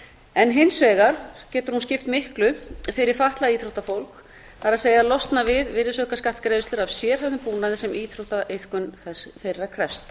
en hins vegar getur hún skipt miklu fyrir fatlað íþróttafólk að losna við virðisaukaskattsgreiðslur af sérhæfðum búnaði sem íþróttaiðkun þeirra krefst